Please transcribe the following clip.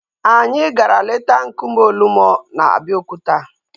Anyị gara leta nkume Olumo na Abeokuta